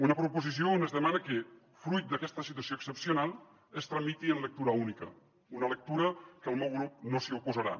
una proposició on es demana que fruit d’aquesta situació excepcional es tramiti en lectura única una lectura que el meu grup no s’hi oposarà